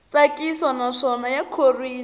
tsakisa naswona ya khorwisa